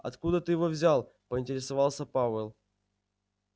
откуда ты это взял поинтересовался пауэлл